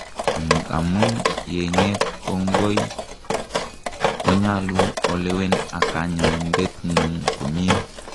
angamun yenyet kongoi, konyalu olewen ak kanyoindetngung komie